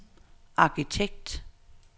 arkitekt